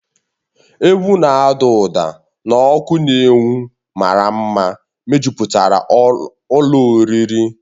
Egwu na-ada ụda na ọkụ na-enwu maramara mejupụtara ụlọ oriri na ọṅụṅụ ahụ